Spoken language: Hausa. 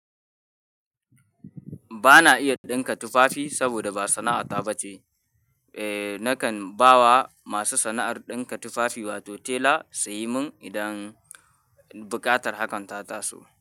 Bana iya ɗinka tufafi saboda ba sana'ata ba ce. Eh, nakan ba wa masu sana'ar ɗinka tufafi wato tela, su yi mun idan buƙatar hakan ta taso.